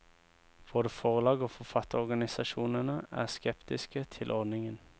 Både forlag og forfatterorganisasjonene er skeptiske til ordningen.